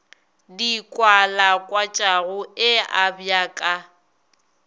di kwalakwatšago e abja ka